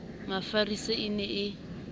ya mafisa e ne e